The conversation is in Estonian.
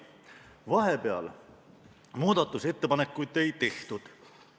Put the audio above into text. Vahepeal muudatusettepanekuid ei tehtud.